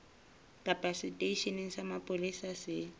kapa seteisheneng sa mapolesa se